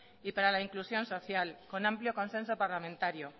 y para la inclusión social con amplio consenso parlamentario